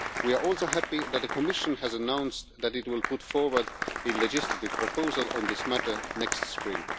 We are also happy that the Commission has announced that it will put forward a legislative proposal on this matter next spring.